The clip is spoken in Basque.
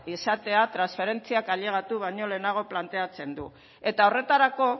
izatea transferentziak ailegatu baino lehenago planteatzen du eta horretarako